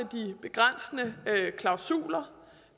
de begrænsende klausuler